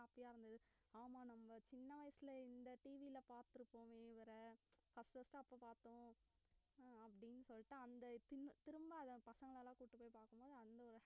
happy ஆ இருந்தது ஆமா நம்ம சின்ன வயசுல இந்த TV ல பார்த்திருப்போம் இவரை first first ஆ அப்ப பார்த்தோம் அப்படினு சொல்லிட்டு அந்த திரும்~ திரும்ப அந்த பசங்க கூட்டிட்டு போய் பாக்கும்